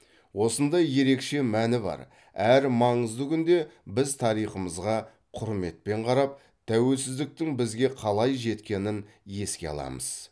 осындай ерекше мәні бар әрі маңызды күнде біз тарихымызға құрметпен қарап тәуелсіздіктің бізге қалай жеткенін еске аламыз